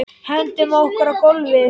Hendum okkur á gólfið.